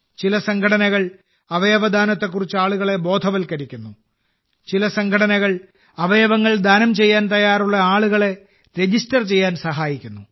ചില സംഘടനകൾ അവയവദാനത്തെക്കുറിച്ച് ആളുകളെ ബോധവൽക്കരിക്കുന്നു ചില സംഘടനകൾ അവയവങ്ങൾ ദാനം ചെയ്യാൻ തയ്യാറുള്ള ആളുകളെ രജിസ്റ്റർ ചെയ്യാൻ സഹായിക്കുന്നു